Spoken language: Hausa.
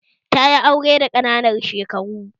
Tayi aure da ƙananan shekaru